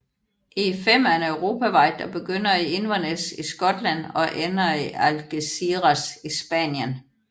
E15 er en europavej der begynder i Inverness i Skotland og ender i Algeciras i Spanien